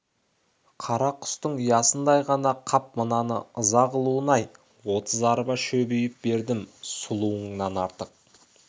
қара құстың ұясындай ғана қап мынаның ыза қылуын-ай отыз арба шөп үйіп бердім сұлыңнан артық